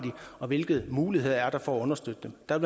og hvilke muligheder der er for at understøtte dem der